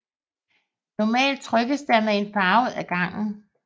Normalt trykkes der med én farve ad gangen